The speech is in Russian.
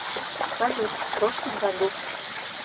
салют в прошлом году